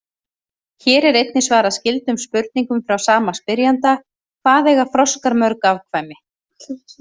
Hér er einnig svarað skyldum spurningum frá sama spyrjanda: Hvað eiga froskar mörg afkvæmi?